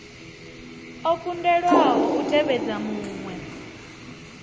o kundelwaho u tevhedza muṅwe